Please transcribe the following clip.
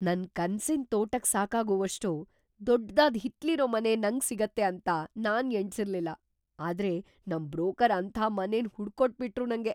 ನನ್ ಕನ್ಸಿನ್ ತೋಟಕ್ ಸಾಕಾಗೋವಷ್ಟು ದೊಡ್ದಾದ್ ಹಿತ್ಲಿರೋ ಮನೆ ನಂಗ್ ಸಿಗತ್ತೆ ಅಂತ ನಾನ್ ಎಣ್ಸಿರ್ಲಿಲ್ಲ, ಆದ್ರೆ ನಮ್‌ ಬ್ರೋಕರ್‌ ಅಂಥ ಮನೆನ್‌ ಹುಡುಕ್ಕೊಟ್ಬಿಟ್ರು ನಂಗೆ!